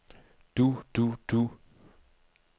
du du du